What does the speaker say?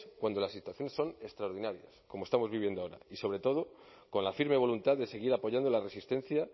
cuando las situaciones son extraordinarias como estamos viviendo ahora y sobre todo con la firme voluntad de seguir apoyando la resistencia